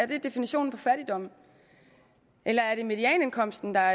definition på fattigdom eller er det medianindkomsten der